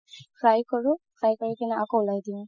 fry কৰো fry কৰি কিনে আকৌ উলাই দিও